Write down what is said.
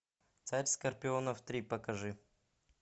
царь скорпионов три покажи